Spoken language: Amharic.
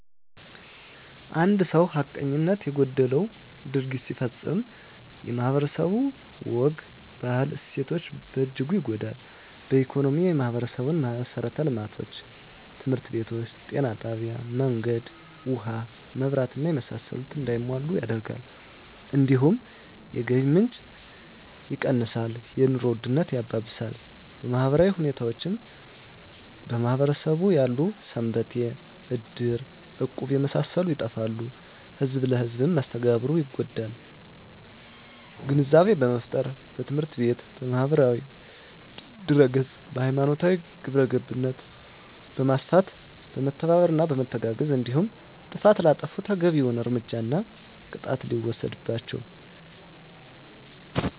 አንድ ሰው ሀቀኝነት የጎደለው ድርጊት ሲፈፀም ማህበረስቡ የማህበረሰቡ ወግ ባህል እሴቶች በእጅጉ ይጎዳል በኢኮኖሚ የማህበረሰቡን መሠረተ ልማቶች( ትምህርት ቤቶች ጤና ጣቢያ መንገድ ውሀ መብራት እና የመሳሰሉት) እንዳይሟሉ ያደርጋል እንዲሁም የገቢ ምንጭ የቀንሳል የኑሮ ውድነት ያባብሳል በማህበራዊ ሁኔታዎች በማህበረሰቡ ያሉ ሰንበቴ እድር እቁብ የመሳሰሉት ይጠፋሉ ህዝብ ለህዝም መስተጋብሩ ይጎዳል ግንዛቤ በመፍጠር በትምህርት ቤት በማህበራዊ ድህረገፅ ሀይማኖታዊ ግብረገብነት በማስፋት በመተባበርና በመተጋገዝ እንዲሁም ጥፍት ላጠፉት ተገቢዉን እርምጃና ቅጣት ሲወሰድባቸው